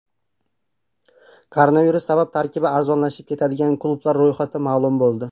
Koronavirus sabab tarkibi arzonlashib ketadigan klublar ro‘yxati ma’lum bo‘ldi.